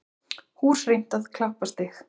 Hús rýmt á Klapparstíg